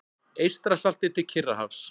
Eystrasalti til Kyrrahafs.